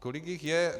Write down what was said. Kolik jich je?